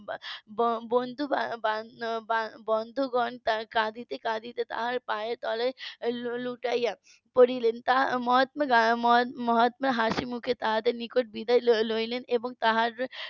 বন্ধু . বন্ধুগণ তারা কাঁদিতে কাঁদিতে তার পায়ের তোলে লুটিয়া পড়লেন মহাত্মা হাসিমুখে তাদের নিকট বিদায় নিয়ে নিলেন এবং তার